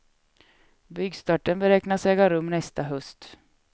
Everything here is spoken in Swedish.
Byggstarten beräknas äga rum nästa höst.